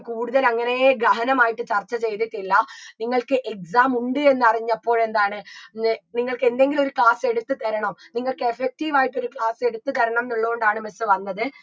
കൂടുതൽ അങ്ങനേ ഗ്രഹനമായിട്ട് ചർച്ച ചെയ്തിട്ടില്ല നിങ്ങൾക്ക് exam ഉണ്ട് എന്നറിഞ്ഞപ്പോഴെന്താണ് നി നിങ്ങക്കെന്തെങ്കിലും ഒരു class എടുത്ത് തരണം നിങ്ങക്ക് effective ആയിട്ടൊരു class എടുത്ത് തരണംന്നുള്ളോണ്ടാണ് miss വന്നത്